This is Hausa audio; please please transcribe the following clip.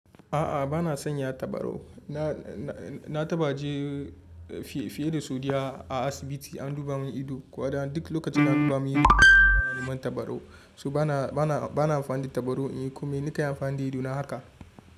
A'a ba na sanya tabarau. Na tabaje fiye da sau da biyu a asibiti an duba mun ido, kuma duk lokacin an duba mun ido an bani man tabarau. To bana amfani tabarau in yi komai. Nakan amfani da idona haka.